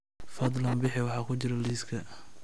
fadlan bixi waxa ku jira liiska